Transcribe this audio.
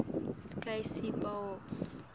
skv sigaba b